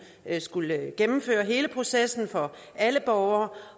skulle gennemføre hele processen for alle borgere